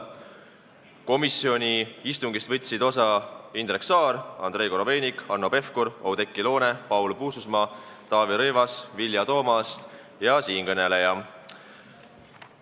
Komisjoni istungist võtsid osa Indrek Saar, Andrei Korobeinik, Hanno Pevkur, Oudekki Loone, Paul Puustusmaa, Taavi Rõivas, Vilja Toomast ja siinkõneleja.